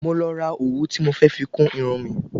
Mo lọ ra òwú ti mó fẹ fi kún Irun mi